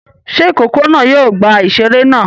Ṣé ìkókó náà yóò gba ìṣeré náà?